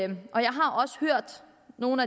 nogle